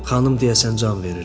Xanım deyəsən can verirdi.